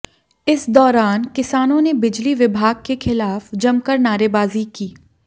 इस दौरान किसानों ने बिजली विभाग के खिलाफ जमकर नारेबाजी की